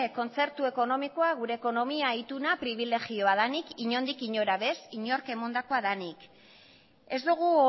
kontzertu ekonomikoa gure ekonomia ituna pribilegioa denik inondik inora ere ez inork emandakoa denik ez dugu